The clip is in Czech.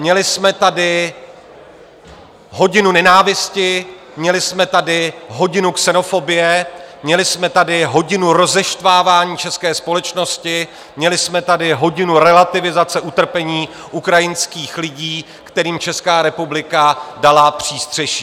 Měli jsme tady hodinu nenávisti, měli jsme tady hodinu xenofobie, měli jsme tady hodinu rozeštvávání české společnosti, měli jsme tady hodinu relativizace utrpení ukrajinských lidí, kterým Česká republika dala přístřeší.